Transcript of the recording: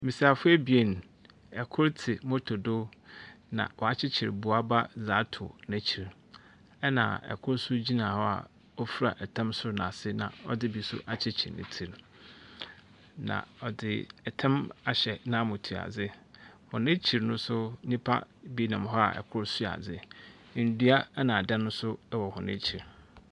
Mbesiafo ebien, ɛ kor te moto do na wakyekyir boaba atu nkyir ena ɛ kor so gyina hɔ a ofra ɛtam soro ne asi ɛna ɔdi bi akyekyerew n'tri. Na ɔdzi ɛtam ahyɛ na motoadzi. Wɔn akyir no so nipa bi nam hɔa ɛ kor sua adze. N'dua ena adan so wɔ wɔn akyir.